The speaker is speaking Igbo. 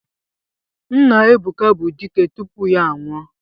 Nna Ebuka bụ dike tupu ya anwụọ.